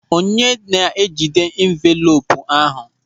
Onye na-ejide envelopu ahụ?